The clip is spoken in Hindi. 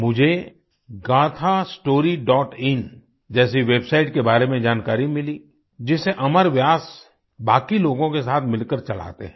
मुझे gaathastoryइन जैसी वेबसाइट के बारे में जानकारी मिली जिसे अमर व्यास बाकी लोगों के साथ मिलकर चलाते हैं